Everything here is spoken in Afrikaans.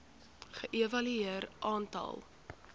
ge evalueer aantal